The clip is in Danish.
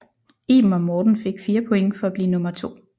Iben og Morten fik 4 point for at blive nummer to